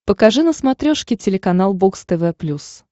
покажи на смотрешке телеканал бокс тв плюс